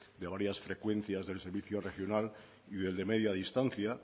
de varias frecuencias del servicio regional y del de media distancia